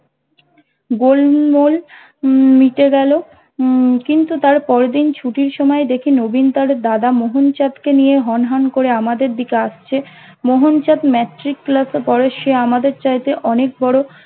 গোলমাল হম মিটে গেল হম কিন্তু তার পরের দিনে ছুটির সময়ে দেখি নবীন তার দাদা মোহনচাঁদ কে নিয়ে হন হন করে আমাদের দিকে আসছে মোহনচাঁদ ম্যাট্রিক ক্লাস এ পড়ে সে আমাদের চাইতে অনেক বড়